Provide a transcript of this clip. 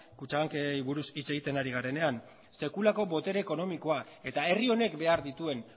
kutxabanki buruz hitz egiten ari garenean sekulako botere ekonomikoa eta herri honek behar dituen